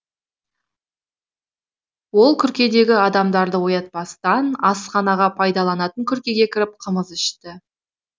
олкүркедегі адамдарды оятпастан асханаға пайдаланатын күркеге кіріп қымыз ішті